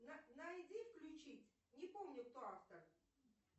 найди включить не помню кто автор